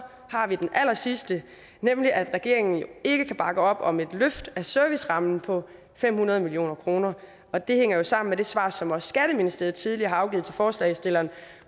har vi den allersidste nemlig at regeringen jo ikke kan bakke op om et løft af servicerammen på fem hundrede million kr og det hænger sammen med det svar som også skatteministeriet tidligere har afgivet til forslagsstillerne